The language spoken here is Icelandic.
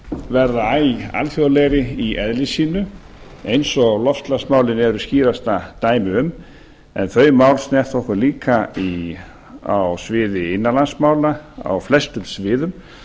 verða æ alþjóðlegri í eðli sínu eins og loftslagsmálin eru skýrasta dæmið um en þau mál snerta okkur líka á sviði innanlandsmála á flestum sviðum